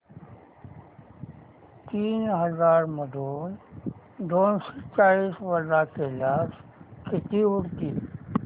तीन हजार मधून दोनशे चाळीस वजा केल्यास किती उरतील